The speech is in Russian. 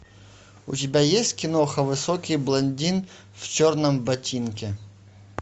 у тебя есть киноха высокий блондин в черном ботинке